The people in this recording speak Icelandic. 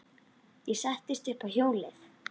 Ég settist upp á hjólið.